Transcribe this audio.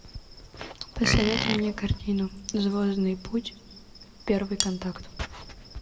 посоветуй мне картину звездный путь первый контакт